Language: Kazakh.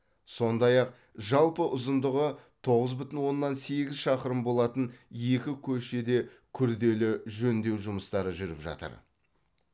сондай ақ жалпы ұзындығы тоғыз бүтін оннан сегіз шақырым болатын екі көшеде күрделі жөндеу жұмыстары жүріп жатыр